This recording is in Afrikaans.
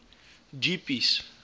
jeepies